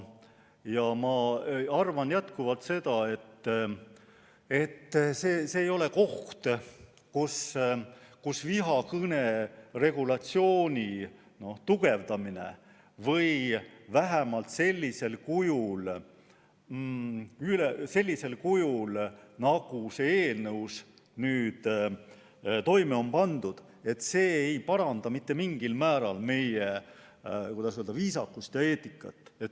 Ja ma arvan jätkuvalt seda, et see ei ole koht, kus vihakõne regulatsiooni tugevdamine – vähemalt mitte sellisel kujul, nagu selles eelnõus on tehtud – aitaks mingilgi määral parandada meie viisakust ja eetikat.